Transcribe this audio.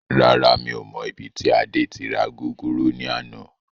Rárá, mi ò mọ ibi tí Adé tí ra gúgúrú ni àná.